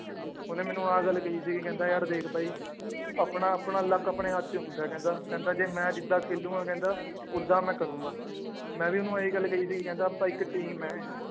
ਉਹਨੇ ਮੈਨੂੰ ਆਹ ਗੱਲ ਕਹੀ ਸੀਗੀ ਕਹਿੰਦਾ ਯਾਰ ਦੇਖ ਬਾਈ ਆਪਣਾ ਆਪਣਾ luck ਆਪਣੇ ਹੱਥ ਚ ਹੁੰਦਾ ਹੈ ਕਹਿੰਦਾ, ਕਹਿੰਦਾ ਜੇ ਮੈਂ ਜਿੱਦਾਂ ਖੇਲਾਂਗਾ ਕਹਿੰਦਾ ਓਦਾਂ ਮੈਂ ਕਰਾਂਗੇ ਮੈਂ ਵੀ ਉਹਨੂੰ ਆਹੀ ਗੱਲ ਕਹੀ ਸੀਗੀ ਕਹਿੰਦਾ ਆਪਾਂ ਇੱਕ team ਹੈ